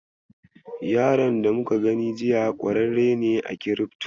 Yaron da muka gani jiya ƙwararre ne a kirifto.